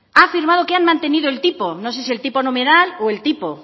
han firmado que han mantenido el tipo no sé si el tipo nominal o el tipo